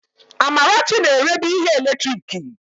Amarachi na-erebu ihe eletiriki.